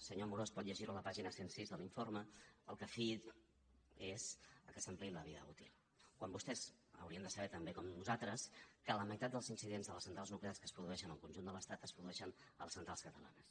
senyor amorós pot llegirho a la pàgina cent i sis de l’informe al que ho fiï és que s’ampliï la vida útil quan vostès haurien de saber tan bé com nosaltres que la meitat dels incidents de les centrals nuclears que es produeixen al conjunt de l’estat es produeixen a les centrals catalanes